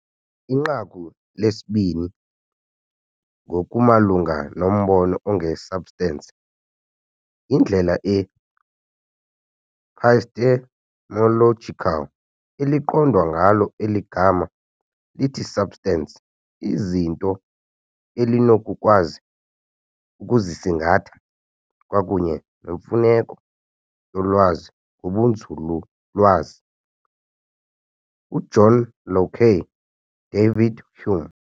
Inqaku lesibini ngokumalunga nombono onge-substance - yindlela e-epistemological eliqondwa ngayo eli gama lithi substance, iizinto elinokukwazi ukuzisingatha kwakunye nemfuneko yolwazi ngobunzululwazi, uJohn Locke, David Hume.